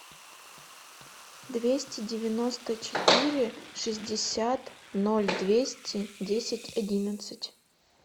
двести девяносто четыре шестьдесят ноль двести десять одиннадцать